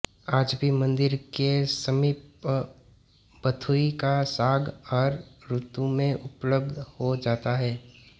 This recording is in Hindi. आज भी मंदिर के समीप बथुए का साग हर ऋतु में उपलब्ध हो जाता है